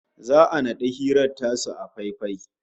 Za'a naɗi hirar tasu a faifai